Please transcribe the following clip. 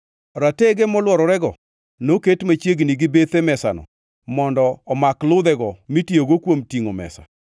Ratege molwororego noket machiegni gi bethe mesano mondo omak ludhego mitiyogo kuom tingʼo mesa.